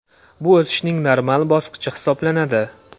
Bu o‘sishning normal bosqichi hisoblanadi.